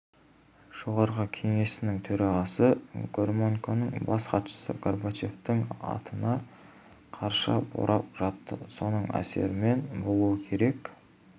жоғарғы кеңесінің төрағасы громыконың бас хатшысы горбачевтің атына қарша борап жатты соның әсерімен болуы керек